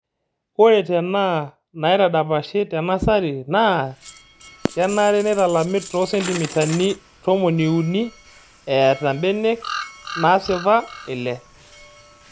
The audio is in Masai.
Ore tenaa naidapashi te nasarinaa kenare neitalami too sentimitai tomoni uni eeta mbenek naasipa ile.